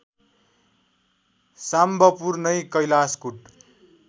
साम्बपुर नै कैलाशकूट